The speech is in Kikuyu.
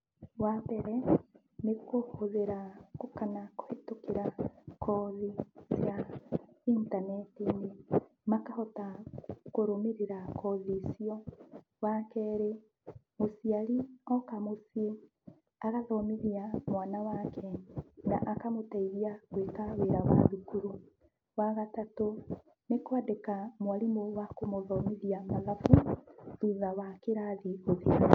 Wa mbere, nĩ kũhũthĩra kana kũhetũkĩra kothi ya intaneti-inĩ, makahota kũrũmĩrĩra kothi icio. Wa kerĩ, mũciarĩ oka mũciĩ agathomithia mwana wake, na akamũteithia gwĩka wĩra wa thukuru, wa gatatũ, nĩ kwandĩka mwarimũ wa kũmũthomithia mathabu thutha wa kĩrathi gũthira.